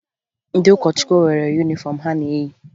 Ndị ụkọchukwu nwere yunifọmụ ha na-eyi